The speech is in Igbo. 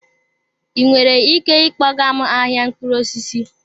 Ị nwere ike ịkpọga m ahịa mkpụrụ osisi?